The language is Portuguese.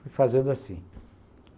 Fui fazendo assim.